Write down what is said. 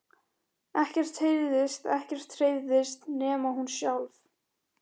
Ekkert heyrðist, ekkert hreyfðist, nema hún sjálf.